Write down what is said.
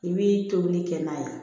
I b'i tobili kɛ n'a ye